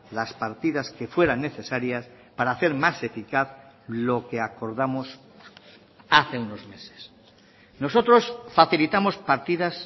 las partidas que fueran necesarias para hacer más eficaz lo que acordamos hace unos meses nosotros facilitamos partidas